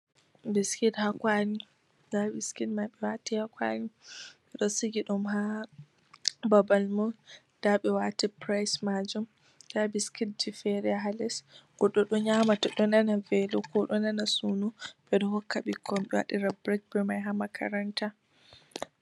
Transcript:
Biskit ha kwali. Nda biskit man ɓe wati ha kwali ɓeɗo sigiɗum ha babalmum, Nda be wati price majum, Nda biskit ji fere ha les, Goɗɗo ɗo nyama to ɗo nana velo ko ɗo nana suno, Ɓedo hokka ɓikkoi ɓe wadira break be mai ha makaranta.